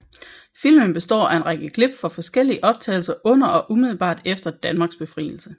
Filmen består af en række klip fra forskellige optagelser under og umiddelbart efter Danmarks befrielse